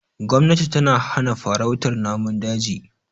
Gomnati tana hana farautar namun daji.